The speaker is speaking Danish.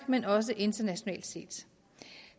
men også internationalt set